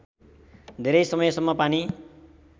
धेरै समयसम्म पानी